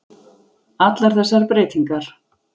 allar þessar breytingar.